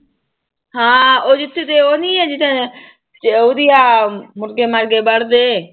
ਹਾਂ ਉਹ ਜਿੱਥੇ ਤੇ ਉਹ ਨੀ ਹੈ ਜਿੱਥੇ ਉਹਦੀ ਆ ਮੁਰਗੇ ਮਰਗੇ ਵੱਢਦੇ।